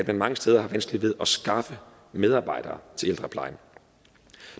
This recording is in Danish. mange steder har vanskeligt ved at skaffe medarbejdere til ældreplejen